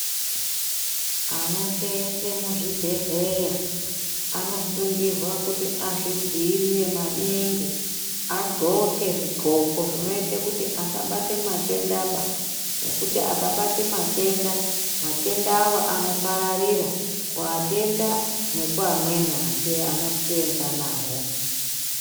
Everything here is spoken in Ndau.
Anoseenze muzvibhedhleya anosungirwa kuti azvidziirire maninhi adxoke zvidxoko zvinoite kuti asabate matendaba nekuti akabate matenda matenda awa anopararira kuatenda nekuamweni asi anoseenza nawo.